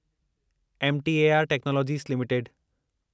MTAR technologies limited